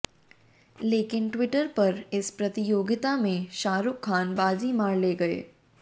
लेकिन ट्विटर पर इस प्रतियोगिता में शाहरुख खान बाजी मार ले गये